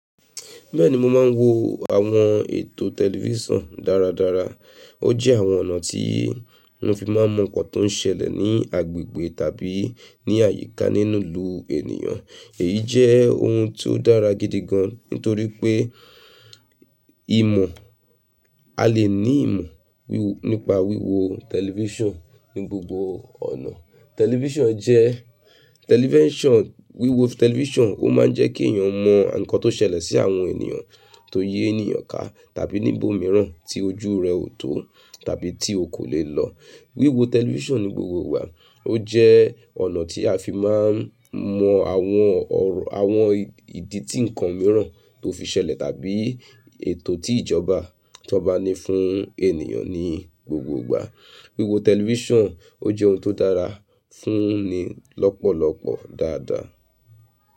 Bẹ́ẹ̀ni mo máa ń wo àwọn ètò tẹlifíṣàn dáradára. Ó jẹ́ àwọn ọ̀nà tí mo fi máa mọ nnkan tó ń ṣẹlẹ̀ ní agbègbè tàbí ní àyíká nínú ìlú ènìyàn. Èyí jẹ́ ohun tó dára gidi gan nítorí pé ìmọ̀, a lè ní ìmọ̀ nípa wíwo tẹlifíṣàn ní gbogbo ọ̀nà. Tẹlifíṣàn jẹ́, tẹlifíṣàn, wíwo tẹlifíṣàn ó máa ń jẹ́ kí èèyàn mọ nǹkan tó ṣẹlẹ̀ sí àwọn ènìyàn tó yé ènìyàn ká tàbí níbòmíràn tí ojú rẹ ò tó tàbí tí o kò lè lọ. Wíwo tẹlifíṣàn ní gbogbo ìgbà ó jẹ́ ọ̀nà tí a fi máa ń mọ àwọn ọ̀rọ̀ àwọn ìdí tí nǹkan míràn tó fi ṣẹlẹ̀ tàbí ètò tí ìjọba tan ba ní fún ènìyàn ní gbogbo ìgbà. Wíwo tẹlifíṣàn ó jẹ́ ohun tó dára fún ni lọ́pọ̀lọ́pọ̀ dáadáa.